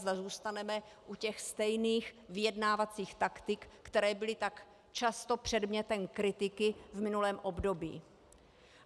Zda zůstaneme u těch stejných vyjednávacích taktik, které byly tak často předmětem kritiky v minulém období.